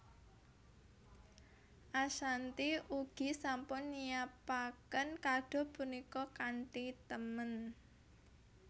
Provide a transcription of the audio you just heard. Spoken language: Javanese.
Ashanty ugi sampun nyiapaken kado punika kanthi temen